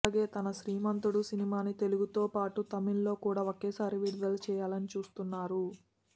అలాగే తన శ్రీమంతుడు సినిమాని తెలుగుతో పాటు తమిళ్ లో కూడా ఒకేసారి విడుదల చేయాలనీ చూస్తున్నారు